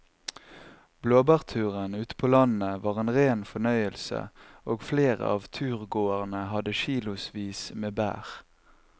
Blåbærturen ute på landet var en rein fornøyelse og flere av turgåerene hadde kilosvis med bær.